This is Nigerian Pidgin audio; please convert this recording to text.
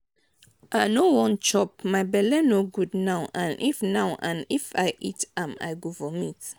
i no wan chop my bele no good now and if now and if i eat am i go vomit.